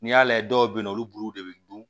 N'i y'a la dɔw bɛ yen nɔ olu de bɛ dun